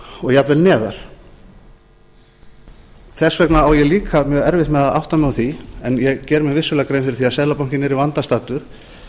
og jafnvel neðar þess vegna á ég líka mjög erfitt með að átta mig á því en ég geri mér vissulega grein fyrir því að seðlabankinn er í vanda staddur